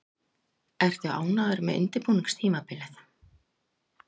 Ertu ánægður með undirbúningstímabilið?